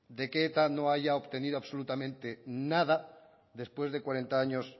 de que eta no haya obtenido absolutamente nada después de cuarenta años